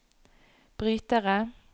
brytere